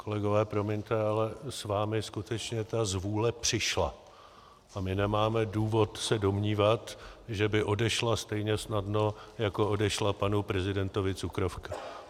Kolegové, promiňte, ale s vámi skutečně ta zvůle přišla a my nemáme důvod se domnívat, že by odešla stejně snadno, jako odešla panu prezidentovi cukrovka.